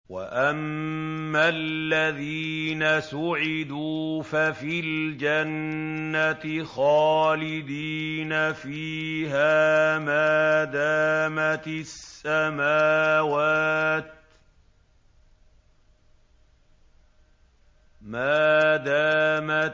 ۞ وَأَمَّا الَّذِينَ سُعِدُوا فَفِي الْجَنَّةِ خَالِدِينَ فِيهَا مَا دَامَتِ